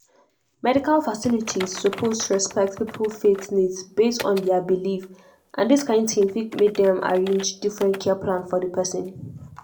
medical facilities suppose respect people faith needs based on their belief and this kind thing fit make dem arrange different care plan for the person.